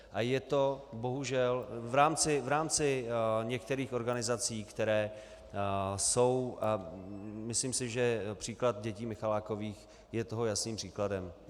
A je to bohužel v rámci některých organizací, které jsou - a myslím si, že příklad dětí Michalákových je toho jasným příkladem.